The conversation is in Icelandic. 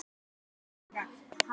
Blessuð sé minning Sollu frænku.